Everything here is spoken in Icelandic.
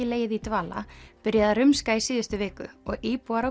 legið í dvala byrjaði að rumska í síðustu viku og íbúar á